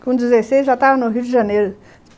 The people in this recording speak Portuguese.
Com dezesseis, já estava no Rio de Janeiro.